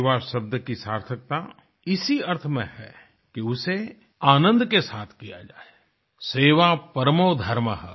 सेवा शब्द की सार्थकता इसी अर्थ में है कि उसे आनंद के साथ किया जाए सेवा परमो धर्मः